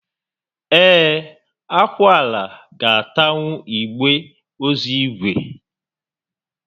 Ee, akwụala ga atanwu igbe ozu ígwè